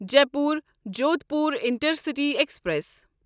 Jaipur Jodhpur intercity express